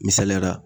Misaliyara